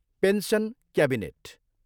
Pension cabinet.